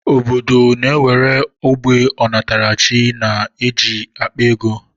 Obodo ndị nwere ógbè ọnatarachi na-eji akpa ego